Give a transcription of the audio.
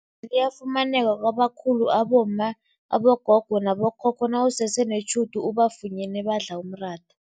liyafunyaneka kwabakhulu abomma, abogogo nabo khokho nawusese netjhudu ubafunyene badla umratha.